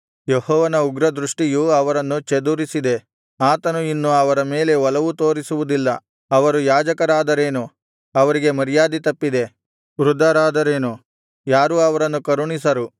ಯೆಹೋವನ ಉಗ್ರದೃಷ್ಟಿಯು ಅವರನ್ನು ಚದುರಿಸಿದೆ ಆತನು ಇನ್ನು ಅವರ ಮೇಲೆ ಒಲವು ತೋರಿಸುವುದಿಲ್ಲ ಅವರು ಯಾಜಕರಾದರೇನು ಅವರಿಗೆ ಮರ್ಯಾದೆ ತಪ್ಪಿದೆ ವೃದ್ಧರಾದರೇನು ಯಾರೂ ಅವರನ್ನು ಕರುಣಿಸರು